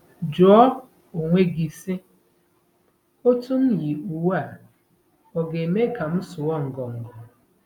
Jụọ onwe gị, sị, ‘Otú m yi uwe a ọ̀ ga-eme ka m sụọ ngọngọ? '